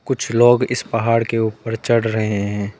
कुछ लोग इस पहाड़ के ऊपर चढ़ रहे हैं।